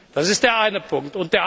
Das ist der eine Punkt.